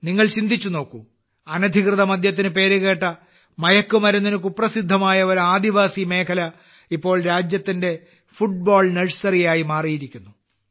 നിങ്ങൾ ചിന്തിച്ചുനോക്കൂ അനധികൃത മദ്യത്തിന് പേരുകേട്ട മയക്കുമരുന്നിന് കുപ്രസിദ്ധമായ ഒരു ആദിവാസി മേഖല ഇപ്പോൾ രാജ്യത്തിന്റെ ഫുട്ബോൾ നഴ്സറിയായി മാറിയിരിക്കുന്നു